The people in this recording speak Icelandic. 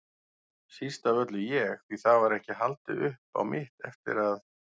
Síst af öllu ég, því það var ekki haldið upp á mitt eftir að